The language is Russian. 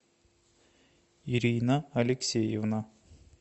ирина алексеевна